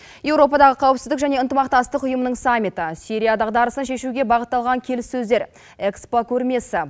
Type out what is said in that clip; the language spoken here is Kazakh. еуропадағы қауіпсіздік және ынтымақтастық ұйымының саммиті сирия дағдарысын шешуге бағытталған келіссөздер экспо көрмесі